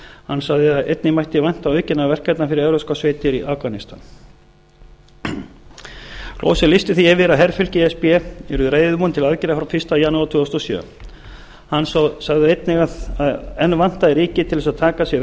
hann sagði að einnig mætti vænta aukinna verkefna fyrir evrópskar sveitir í afganistan gloser lýsti því yfir að herfylki e s b yrðu reiðubúin til aðgerða frá fyrsta janúar tvö þúsund og sjö hann sagði einnig að það vantaði ríki til að taka að sér verkefni á